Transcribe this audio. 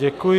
Děkuji.